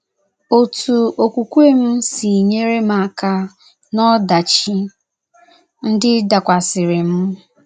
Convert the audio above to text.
Otú Okwukwe m si nyere m aka n'ọdachi ndị dakwasịrị m.